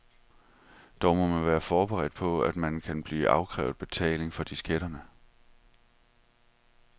Dog må man være forberedt på, at man kan blive afkrævet betaling for disketterne.